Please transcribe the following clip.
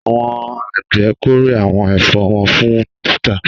Àwọn àgbẹ̀ kórè àwọn ẹ̀fọ́ wọn fún títà.